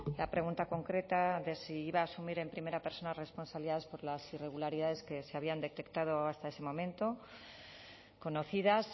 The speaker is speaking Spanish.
la pregunta concreta de si iba a asumir en primera persona responsabilidades por las irregularidades que se habían detectado hasta ese momento conocidas